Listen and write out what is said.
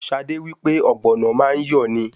Ṣadé wí pé Ọ̀gbọ̀nọ̀ má ń yọ̀ ni.